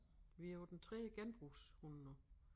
Vi på den tredje genbrugshund nu